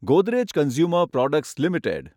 Godrej consumer products limited